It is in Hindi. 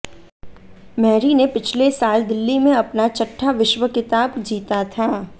मेरी ने पिछले साल दिल्ली में अपना छठा विश्व खिताब जीता था